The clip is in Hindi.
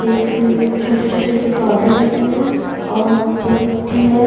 एक छोटे छोटे से पौधे लगे हैं और नीचे मिट्टी है।